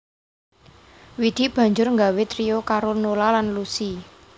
Widi banjur nggawé trio karo Nola lan Lusi